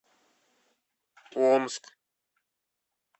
омск